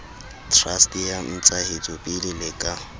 trust ya ntsahetsopele le ka